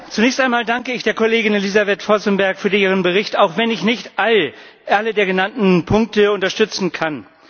Zunächst einmal danke ich der Kollegin Elissavet Vozemberg für ihren Bericht, auch wenn ich nicht alle der genannten Punkte unterstützen kann.